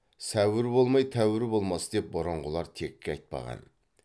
сәуір болмай тәуір болмас деп бұрынғылар текке айтпаған